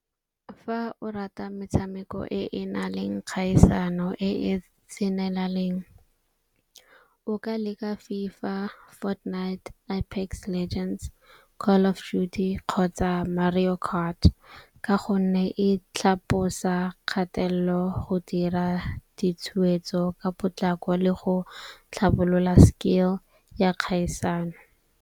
Fa o rata metshameko e e na leng kgaisano e e tsenelaleng o ka leka FIFA, Fortnite, kgotsa Mario Kart. Ka gonne e tlhabosa kgatelelo go dira ditshwetso ka potlako le go tlhabolola skill ya kgaisano.